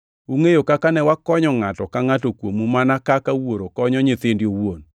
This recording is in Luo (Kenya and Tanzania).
Ungʼeyo kaka ne wakonyo ngʼato ka ngʼato kuomu mana kaka wuoro konyo nyithinde owuon,